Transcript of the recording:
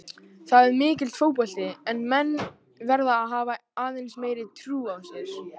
Það er mikill fótbolti en menn verða að hafa aðeins meiri trú á sér.